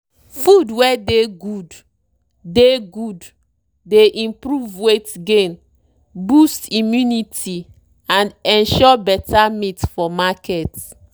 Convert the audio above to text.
feed wey dey good dey good dey improve weight gain boost immunity and ensure better meat for market.